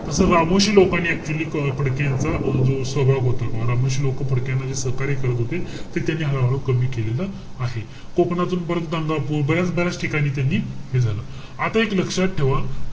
तस रामोशी लोकांनी actually अं फडकेंचं अं जो स्वभाव होता. रामोशी लोकं फडक्याना जे सहकार्य करत होते. ते त्यांनी हळूहळू कमी केलेल आहे. कोंकणातून परत गंगापूर बऱ्याच ठिकाणी त्यांनी हे झालं. आता एक लक्षात ठेवा.